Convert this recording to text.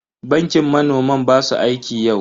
Bankin manoman ba su aiki yau.